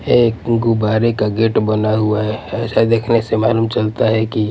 एक गुबारे का गेट बना हुआ है ऐसा देखने से मालूम चलता है कि--